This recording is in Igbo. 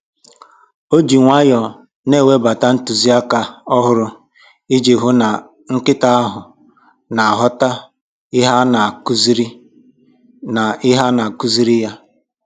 O ji nwayọọ na-ewebata ntụziaka ọhụrụ iji hụ na nkịta ahụ na-aghọta ihe a na-akụziri na-akụziri ya